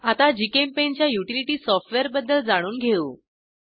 आता GchemPaintच्या युटिलिटी सॉफ्टवेअरबद्दल जाणून घेऊ